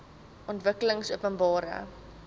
ontwikkelingopenbare